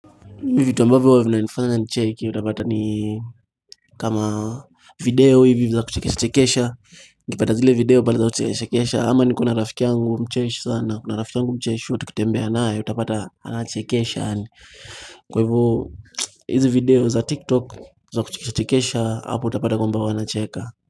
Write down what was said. Hivi vitu ambavyo huwa vinanifanya nicheki utapata ni kama video hivi za kuchekisha chekesha ukipata zile video baada za kuchekesha chekesha ama niko na rafiki yangu mcheshi sana kuna rafiki yangu mcheshi huwa tukitembea naye utapata anachekesha Kwa hivyo hizi video za tiktok za kuchekesha chekesha hapo utapata kwamba huwa nacheka.